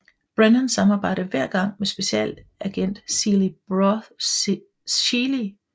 Brennan samarbejder hver gang med Specialagent Seeley Booth fra FBI